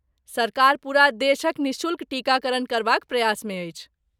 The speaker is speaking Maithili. सरकार पूरा देशक निःशुल्क टीकाकरण करबाक प्रयासमे अछि।